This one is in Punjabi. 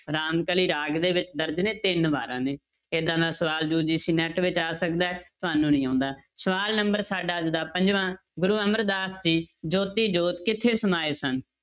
ਰਾਮਕਲੀ ਰਾਗ ਦੇ ਵਿੱਚ ਦਰਜ਼ ਨੇ ਤਿੰਨ ਵਾਰਾਂ ਨੇ ਏਦਾਂ ਦਾ ਸਵਾਲ UGCNET ਵਿੱਚ ਆ ਸਕਦਾ ਹੈ ਤੁਹਾਨੂੰ ਨੀ ਆਉਂਦਾ, ਸਵਾਲ number ਸਾਡਾ ਅੱਜ ਦਾ ਪੰਜਵਾਂ, ਗੁਰੂ ਅਮਰਦਾਸ ਜੀ ਜੋਤੀ ਜੋਤ ਕਿੱਥੇ ਸਮਾਏ ਸਨ?